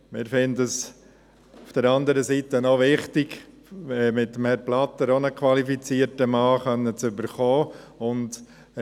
Wir finden es auf der anderen Seite auch wichtig, mit Herrn Blatter auch einen qualifizierten Mann erhalten zu können.